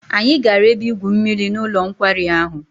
Anyị gara ebe-igwu mmiri n'ụlọ nkwari ahụ.